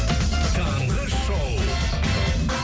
таңғы шоу